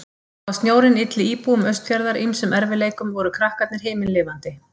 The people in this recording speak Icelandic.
Þó að snjórinn ylli íbúum Austurfjarðar ýmsum erfiðleikum voru krakkarnir himinlifandi.